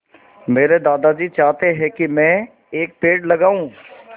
मेरे दादाजी चाहते हैँ की मै एक पेड़ लगाऊ